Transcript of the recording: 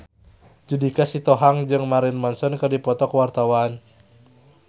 Judika Sitohang jeung Marilyn Manson keur dipoto ku wartawan